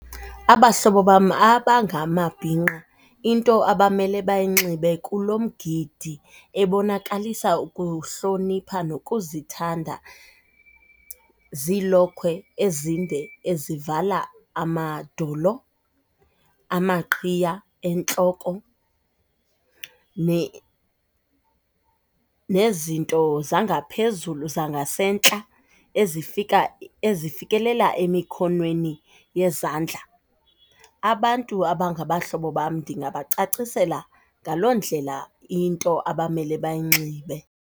Abahlobo bam abangamabhinqa into abamele bayinxibe kulo mgidi ebonakalisa ukuhlonipha nokuzithanda ziilokhwe ezinde ezivala amadolo, amaqhiya entloko nezinto zangaphezulu zangasentla ezifika, ezifekelela, emikhonweni yezandla. Abantu abangabahlobo bam ndingabacacisela ngaloo ndlela into abamele bayinxibe.